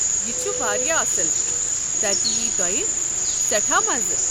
یہِ چھُ واریاہ اصٕل، تتہِ ییٚہِ تۄیہِ سٮ۪ٹھاہ مَزٕ۔